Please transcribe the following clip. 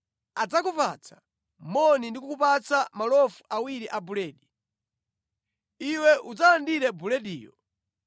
Adzakupatsa moni ndi kukupatsa malofu awiri a buledi. Iwe udzalandire bulediyo.